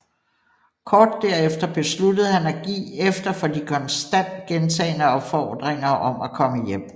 Kort derefter besluttede han at give efter for de konstant gentagne opfordringer om at komme hjem